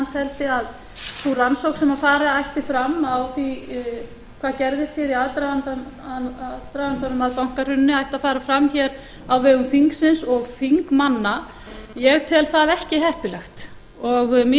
teldi að sú rannsókn sem fara ætti fram á því hvað gerðist hér í aðdragandanum að bankahruninu ætti að fara fram hér á vegum þingsins og þingmanna ég tel það ekki heppilegt og mín skoðun